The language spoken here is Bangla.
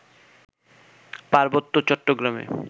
পার্বত্য চট্টগ্রামে